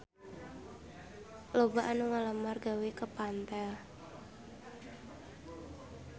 Loba anu ngalamar gawe ka Pentel